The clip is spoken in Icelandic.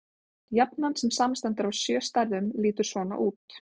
Jafnan, sem samanstendur af sjö stærðum, lítur svona út: